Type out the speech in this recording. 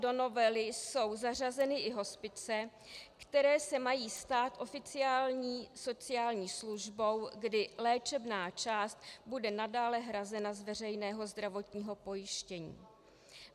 Do novely jsou zařazeny i hospice, které se mají stát oficiální sociální službou, kdy léčebná část bude nadále hrazena z veřejného zdravotního pojištění.